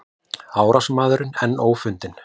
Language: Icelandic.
Árásarmaður enn ófundinn